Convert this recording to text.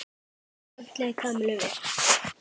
Samt leið Kamillu vel.